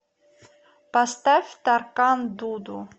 поставь таркан дуду